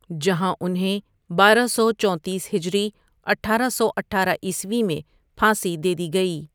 جہاں انہیں بارہ سو چونتیس ہجری اٹھارہ سو اٹھارہ عیسوی میں پھانسی دے دی گئی ۔